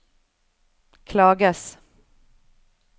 klages